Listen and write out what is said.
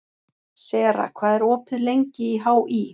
Sera, hvað er opið lengi í HÍ?